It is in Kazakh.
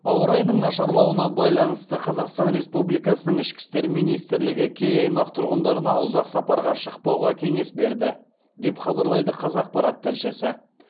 ауа райының нашарлауына байланысты қазақстан республикасының ішкі істер министрлігі кей аймақ тұрғындарына ұзақ сапарға шықпауға кеңес берді деп хабарлайды қазақпарат тілшісі